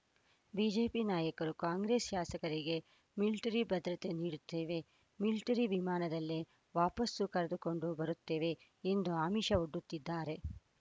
BJP ನಾಯಕರು ಕಾಂಗ್ರೆಸ್‌ ಶಾಸಕರಿಗೆ military ಭದ್ರತೆ ನೀಡುತ್ತೇವೆ ಮಿಲಿಟರಿ ವಿಮಾನದಲ್ಲೇ ವಾಪಸು ಕರೆದುಕೊಂಡು ಬರುತ್ತೇವೆ ಎಂದು ಆಮಿಷ ಒಡ್ಡುತ್ತಿದ್ದಾರೆ